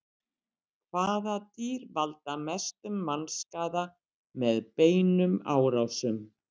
hvaða dýr valda mestum mannskaða með beinum árásum